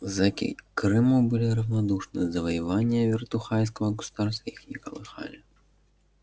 зэки к крыму были равнодушны завоевания вертухайского государства их не колыхали